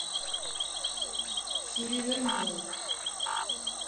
сильвер молл